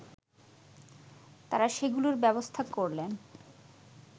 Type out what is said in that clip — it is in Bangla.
তারা সেগুলোর ব্যবস্থা করলেন